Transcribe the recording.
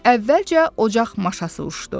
Əvvəlcə ocaq maşası uçdu.